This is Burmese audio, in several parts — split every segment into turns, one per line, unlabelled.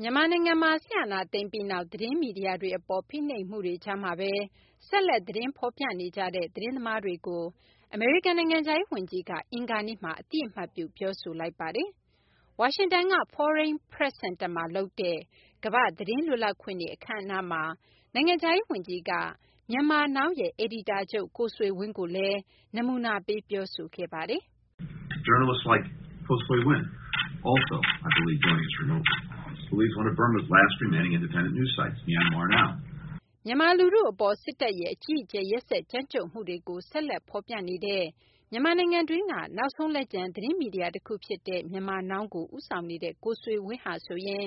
မြန်မာနိုင်ငံမှာ စစ်အာဏာသိမ်းပြီးနောက် သတင်းမီဒီယာတွေအပေါ် ဖိနှိပ်မှုတွေကြားမှာပဲ ဆက်လက် သတင်းဖော်ပြနေကြတဲ့ သတင်းသမားတွေကို အမေရိကန် နိုင်ငံခြားရေး ဝန်ကြီးက အင်္ဂါနေ့မှာ အသိအမှတ်ပြု ပြောဆိုလိုက်ပါတယ်။ ဝါရှင်တန်က Foreign Press Center မှာ လုပ်တဲ့ ကမ ္ဘာ့ သတင်းလွတ်လပ်ခွင့်နေ့ အခမ်းအနားမှာ နိုင်ငံခြားရေး ဝန်ကြီးက Myanmar Now ရဲ့ အယ်ဒီတာချုပ် ကိုဆွေဝင်းကိုလည်း နမူနာပေး ပြောဆိုခဲ့တာပါ။ "မြန်မာ လူထု အပေါ် စစ်တပ်ရဲ့ အကြီးအကျယ် ရက်စက်ကြမ်းကြုတ်မှုတွေကို ဆက်လက် ဖော်ပြနေတဲ့ မြန်မာနိုင်ငံတွင်းက နောက်ဆုံး လက်ကျန် သတင်းမီဒီယာ တခု ဖြစ်တဲ့ Myanmar Now ကို ဦးဆောင်နေတဲ့ ကိုဆွေဝင်း ဟာဆိုရင်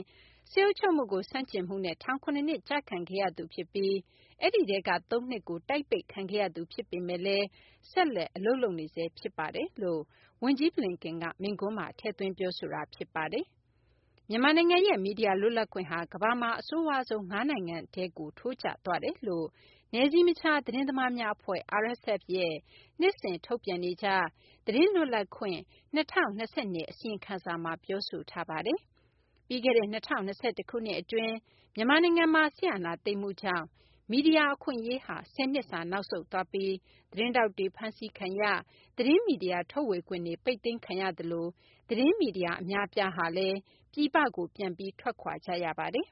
စစ်အုပ်ချုပ်မှုကို ဆန့်ကျင်မှုနဲ့ ထောင် ၇ နှစ်ကျခံခဲ့ရသူ ဖြစ်ပြီး အဲဒီထဲက သုံးနှစ်ကို တိုက်ပိတ်ခံခဲ့ရသူ ဖြစ်ပေမယ့်လည်း ဆက်လက် အလုပ်လုပ်နေဆဲ ဖြစ်ပါတယ်။" လို့ ဝန်ကြီး Blinken က မိန့်ခွန်းမှာ ထည့်သွင်း ပြောဆိုခဲ့တာ ဖြစ်ပါတယ်။ မြန်မာနိုင်ငံရဲ့ မီဒီယာလွတ်လပ်ခွင့်ဟာ ကမ္ဘာမှာ အဆိုးဝါးဆုံး ၅ နိုင်ငံထဲကို ထိုးကျသွားတယ်လို့ နယ်စည်းမခြား သတင်းသမားများအဖွဲ့ (RSF) ရဲ့ နှစ်စဉ် ထုတ်ပြန်နေကျ သတင်းလွတ်လပ်ခွင့် ၂၀၂၂ အစီအရင်ခံစာ မှာ ပြောထားပါတယ်။ ပြီးခဲ့တဲ့ ၂၀၂၁ ခုနှစ် အတွင်း မြန်မာနိုင်ငံမှာ စစ်အာဏာသိမ်းမှုကြောင့် မီဒီယာ အခွင့်အရေးဟာ ၁၀ နှစ်စာ နောက်ဆုတ်သွားပြီး သတင်းထောက်တွေ ဖမ်းဆီးခံရ၊ သတင်းမီဒီယာ ထုတ်ဝေခွင့်တွေ ပိတ်သိမ်းခံရသလို သတင်းမီဒီယာ အများအပြားဟာလည်း ပြည်ပကို ပြန်ပြီး ထွက်ခွာ ကြရပါတယ်